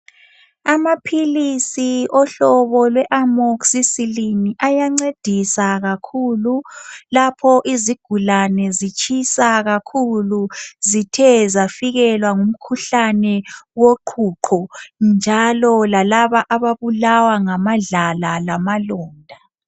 Amaphilisi ohlobo lwe Amoxicillian ayancedisa kakhulu lapho izigulane zitshisa kakhulu zithe zafikelwa ngumkhuhlane woqhuqho, njalo lalaba ababulawa ngamadlala lamalonda.